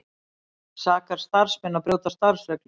Sakar starfsmenn að brjóta starfsreglur